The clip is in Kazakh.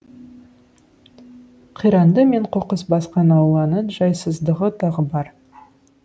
қиранды мен қоқыс басқан ауланың жайсыздығы тағы бар